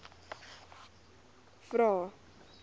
vvvvrae